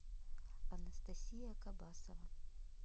анастасия кабасова